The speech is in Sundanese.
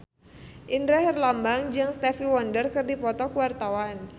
Indra Herlambang jeung Stevie Wonder keur dipoto ku wartawan